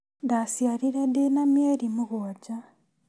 Ndaciarire ndĩna mĩeri mũgwanja